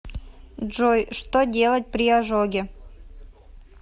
джой что делать при ожоге